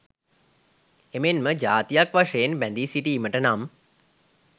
එමෙන්ම ජාතියක් වශයෙන් බැඳී සිටීමට නම්